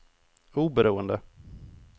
oberoende